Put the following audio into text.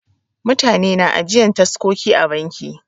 Mutane na ajiyan taskoki a banki.